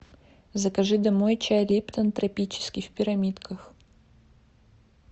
закажи домой чай липтон тропический в пирамидках